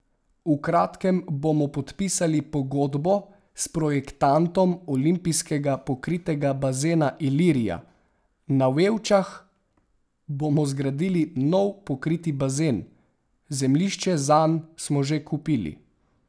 V kratkem bomo podpisali pogodbo s projektantom olimpijskega pokritega bazena Ilirija, na Vevčah bomo zgradili nov pokriti bazen, zemljišče zanj smo že kupili.